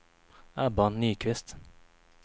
Ebba Nyqvist